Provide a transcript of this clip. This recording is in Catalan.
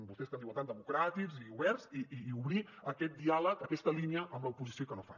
vostès que en diuen tant democràtics i oberts i obrir aquest diàleg aquesta línia amb l’oposició i que no ho fan